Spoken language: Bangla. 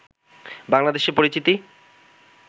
বাংলাদেশের পরিচিতি